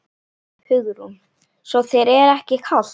Hugrún: Svo þér er ekki kalt?